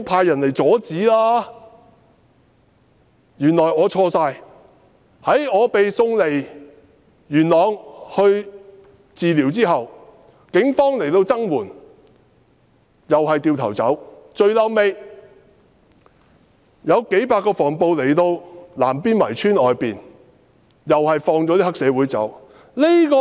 原來是我錯了，我被送離元朗接受治療後，警方曾來增援，但隨即轉身離開，最後有幾百名防暴警察來到南邊圍村外面，卻將黑社會分子放走。